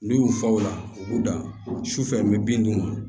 N'u y'u fa o la u b'u dan sufɛ n bɛ bin d'u ma